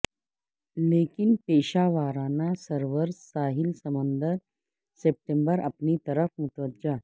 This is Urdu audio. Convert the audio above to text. لیکن پیشہ ورانہ سرورز ساحل سمندر ستمبر اپنی طرف متوجہ